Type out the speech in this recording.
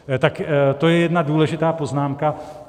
Tak to je jedna důležitá poznámka.